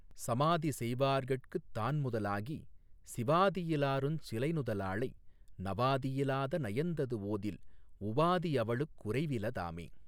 சமாதிசெய்வார்கட்குத் தான்முதலாகி சிவாதியிலாருஞ் சிலைநுதலாளை நவாதியிலாத நயந்தது ஓதில் உவாதி அவளுக் குறைவில தாமே.